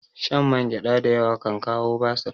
Shan mangyada da yawa kan kawo basir